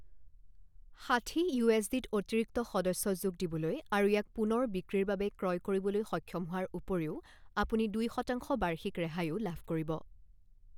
ষাঠি ইউএছডিত অতিৰিক্ত সদস্য যোগ দিবলৈ আৰু ইয়াক পুনৰ বিক্ৰীৰ বাবে ক্ৰয় কৰিবলৈ সক্ষম হোৱাৰ উপৰিও, আপুনি দুই শতাংশ বাৰ্ষিক ৰেহাইও লাভ কৰিব।